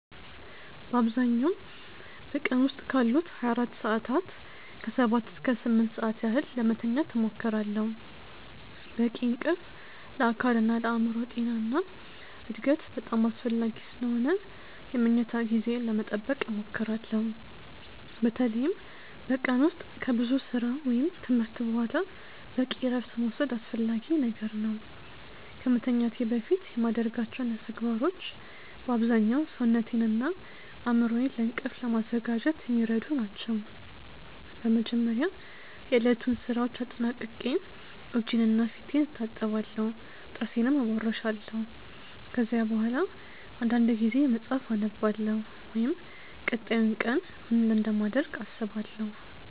በአብዛኛው በቀን ዉስጥ ካሉት 24 ሰዓታት ከ7 እስከ 8 ሰዓት ያህል ለመተኛት እሞክራለሁ። በቂ እንቅልፍ ለአካልና ለአእምሮ ጤና እና እድገት በጣም አስፈላጊ ስለሆነ የመኝታ ጊዜዬን ለመጠበቅ እሞክራለሁ። በተለይም በቀን ውስጥ ከብዙ ሥራ ወይም ትምህርት በኋላ በቂ እረፍት መውሰድ አስፈላጊ ነገር ነው። ከመተኛቴ በፊት የማደርጋቸው ተግባሮች በአብዛኛው ሰውነቴንና አእምሮዬን ለእንቅልፍ ለማዘጋጀት የሚረዱ ናቸው። በመጀመሪያ የዕለቱን ሥራዎች አጠናቅቄ እጄንና ፊቴን እታጠባለሁ፣ ጥርሴንም እቦርሻለሁ። ከዚያ በኋላ አንዳንድ ጊዜ መጽሐፍ አነባለሁ ወይም ቀጣዩን ቀን ምን እንደማደርግ አስባለሁ።